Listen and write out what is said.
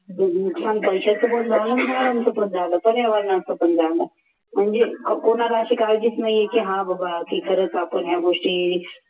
नुकसान पैशाचं पण झालं झाडांचं पण झालं पर्यावरणाच पण झालं म्हणजे कोणाला अशी काळजीच नाही आहे की हा बाबा की खरच आपण या गोष्टी